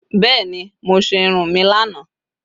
Beeni. Mo se irun mi lana